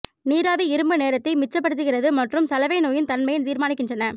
நீராவி இரும்பு நேரத்தை மிச்சப்படுத்துகிறது மற்றும் சலவை நோயின் தன்மையை தீர்மானிக்கின்றன